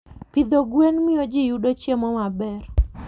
Pidho gwen miyo ji yudo chiemo maber.